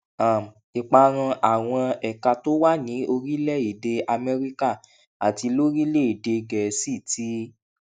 um ìparun àwọn ẹka tó wà ní orílẹèdè amẹríkà àti lórílèèdè gèésì ti